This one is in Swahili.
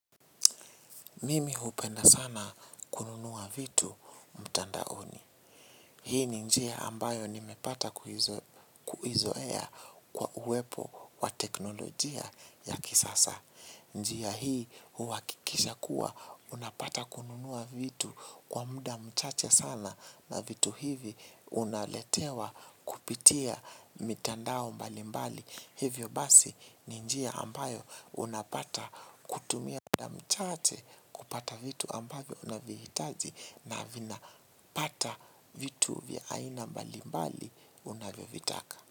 Mimi hupenda sana kununua vitu mtandaoni. Hii ni njia ambayo nimepata kuizoea kwa uwepo wa teknolojia ya kisasa. Njia hii huhakikisha kuwa unapata kununua vitu kwa muda mchache sana na vitu hivi unaletewa kupitia mitandao mbali mbali. Hivyo basi ni njia ambayo unapata kutumia muda mchache kupata vitu ambayo unavihitaji na vina pata vitu vya aina mbalimbali unavyo vitaka.